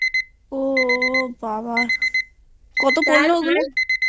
ও বাবা কত পড়লো ওগুলো?